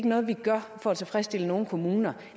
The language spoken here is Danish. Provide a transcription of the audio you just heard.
noget vi gør for at tilfredsstille nogle kommuner